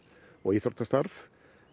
og íþróttastarf